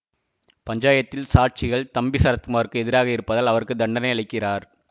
பஞ்சாயத்தில் சாட்சிகள் தம்பி சரத்குமாருக்கு எதிராக இருப்பதால் அவருக்கு தண்டனை அளிக்கிறார்